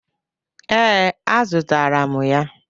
Ee, a zụtara m ya